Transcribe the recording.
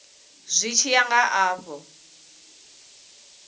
zwi tshi ya nga afho